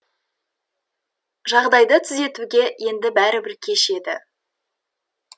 жағдайды түзетуге енді бәрібір кеш еді